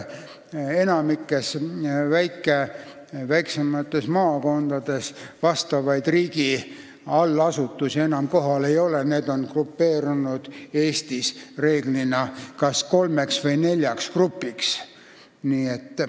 Enamikus väiksemates maakondades riigi allasutusi enam ei ole, need on Eestis tavaliselt koondunud kas kolmeks või neljaks grupiks.